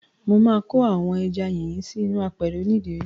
Mo ma ko àwọn ẹja yíyan sí inú àpẹ̀rẹ̀ oní ìdérí.